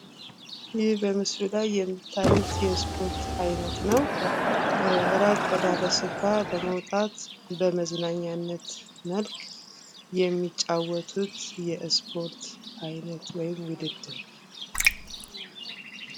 ይህ በምስሉ ላይ የምታዩት የስፖርት አይነት ነው። ራቅ ወዳለ ስፍራ በመውጣት በመዝናኛነት መልክ የሚጫወቱት የስፖርት አይነት ወይም ውድድር።